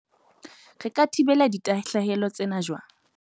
Re ka thibela ditahlehelo tsena jwang?